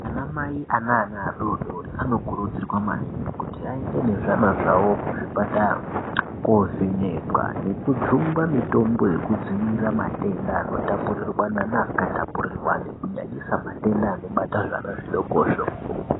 Ana Mai ane ana adodori vanokurudzirwa maningi kuti aende ezvana zvawo kuzvipatara kovhenekwa nekujungwa mitombo inodziirira matenda anotapuriranwa neasingatapurirwani kunyanyisa matenda anobata zvana zvidokozvo .